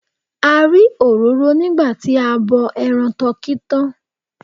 A rí òróró nígbà tí a bọ ẹran tọkí tán.